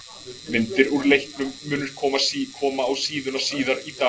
Myndir úr leiknum munu koma á síðuna síðar í dag.